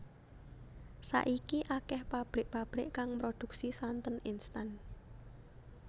Saiki akéh pabrik pabrik kang mroduksi santen instan